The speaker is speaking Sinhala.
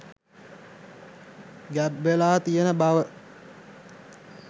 ගැබ්වෙලා තියෙන බව